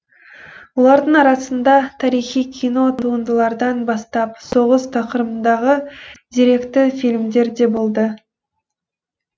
олардың арасында тарихи кино туындылардан бастап соғыс тақырыбындағы деректі фильмдер де болды